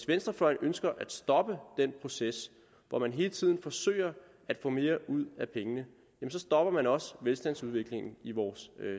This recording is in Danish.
venstrefløjen ønsker at stoppe den proces hvor man hele tiden forsøger at få mere ud af pengene så stopper man også velstandsudviklingen i vores